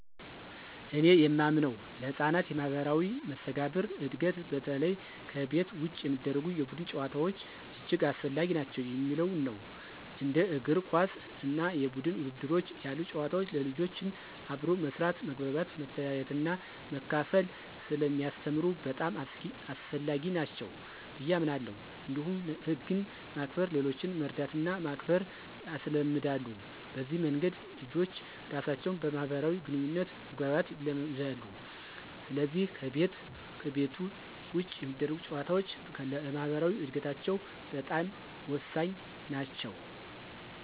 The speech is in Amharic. እኔ የማምነው ለሕፃናት የማኅበራዊ መስተጋብር እድገት በተለይ ከቤት ውጭ የሚደረጉ የቡድን ጨዋታዎች እጅግ አስፈላጊ ናቸው የሚለው ነው። እንደ እግር ኳስ እና የቡድን ውድድሮች ያሉ ጨዋታዎች ልጆችን አብሮ መስራት፣ መግባባት፣ መተያየትና መካፈል ስለሚያስተምሩ በጣም አስፈላጊ ናቸው ብየ አምናለሁ። እንዲሁም ህግን ማክበር፣ ሌሎችን መርዳትና ማክበር ያስለምዳሉ። በዚህ መንገድ ልጆች ራሳቸውን በማህበራዊ ግንኙነት መግባባት ይለምዳሉ፣ ስለዚህ ከቤት ውጭ የሚደረጉ ጨዋታዎች ለማኅበራዊ እድገታቸው በጣም ወሳኝ ናቸው።